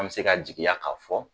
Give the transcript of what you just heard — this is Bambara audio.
An bi se ka jigiya ka fɔ